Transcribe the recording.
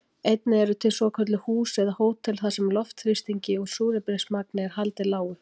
Einnig eru til svokölluð hús eða hótel þar sem loftþrýstingi og súrefnismagni er haldið lágu.